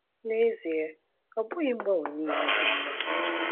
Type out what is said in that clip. N’ezie, ọ bụghị mgbanwe niile dị mma.